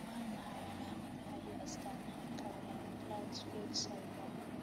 Waa maxay calaamadaha iyo astaamaha Kaplan Plauchu Fitch syndrome?